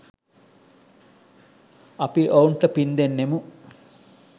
අපි ඔවුන්ට පින් දෙන්නෙමු.